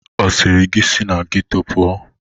Ọ sịrị gị si na geto pụọ?